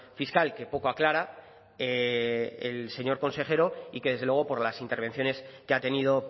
fiscal que poco aclara el señor consejero y que desde luego por las intervenciones que ha tenido